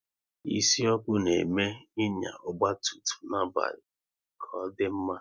Isi ọkụ na eme Ịnya ọgba tum tum n'abalị ọ kadị mma